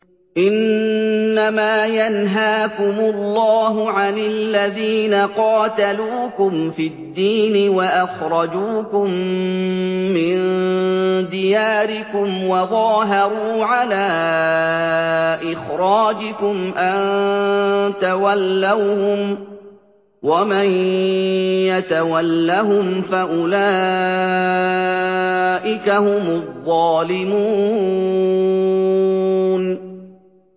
إِنَّمَا يَنْهَاكُمُ اللَّهُ عَنِ الَّذِينَ قَاتَلُوكُمْ فِي الدِّينِ وَأَخْرَجُوكُم مِّن دِيَارِكُمْ وَظَاهَرُوا عَلَىٰ إِخْرَاجِكُمْ أَن تَوَلَّوْهُمْ ۚ وَمَن يَتَوَلَّهُمْ فَأُولَٰئِكَ هُمُ الظَّالِمُونَ